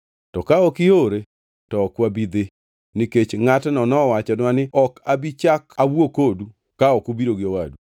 To ka ok iore, to ok wabi dhi, nikech ngʼatno nowachonwa ni, ‘Ok abi chak awuo kodu ka ok ubiro gi owadu.’ ”